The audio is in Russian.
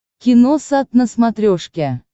киносат на смотрешке